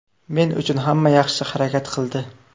Men uchun hamma yaxshi harakat qildi.